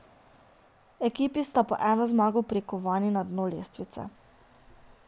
Ekipi sta po eno zmago prikovani na dno lestvice.